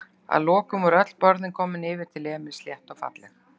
Að lokum voru öll borðin komin yfir til Emils, slétt og falleg.